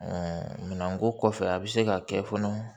minɛnko kɔfɛ a bɛ se ka kɛ fana